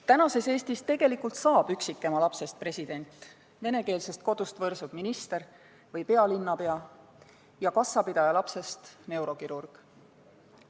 Tänases Eestis on tegelikult võimalik, et üksikema lapsest saab president, venekeelsest kodust võrsub minister või pealinnapea ja kassapidaja lapsest neurokirurg.